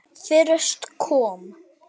Fyrst kom